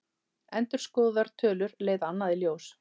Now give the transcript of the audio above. Endurskoðaðar tölur leiða annað í ljós